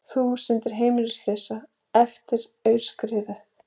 Þúsundir heimilislausar eftir aurskriðu